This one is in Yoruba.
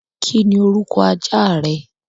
Kí niorúkọ ajá rẹ?